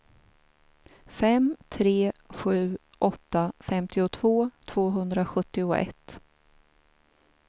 fem tre sju åtta femtiotvå tvåhundrasjuttioett